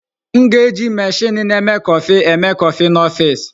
M ga-eji meshini na-eme kọfị eme kọfị n'ọfịs.